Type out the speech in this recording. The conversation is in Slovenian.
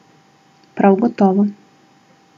Prav gotovo.